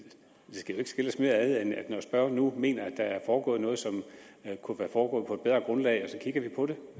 det skal jo ikke skille os mere ad end at vi når spørgeren nu mener at der er foregået noget som kunne være foregået på et bedre grundlag så kigger på det